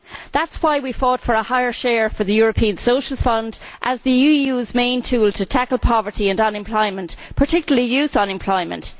That is why we fought for a higher share for the European Social Fund as the EU's main tool to tackle poverty and unemployment, particularly youth unemployment.